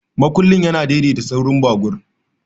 Makullin yana daidaita saurin babur.